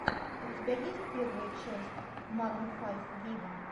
у тебя есть первая часть марун файв виво